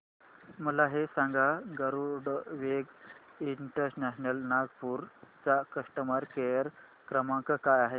मला हे सांग गरुडवेग इंटरनॅशनल नागपूर चा कस्टमर केअर क्रमांक काय आहे